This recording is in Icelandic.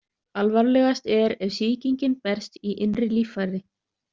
Alvarlegast er ef sýkingin berst í innri líffæri.